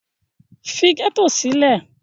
Leave the ghetto! ì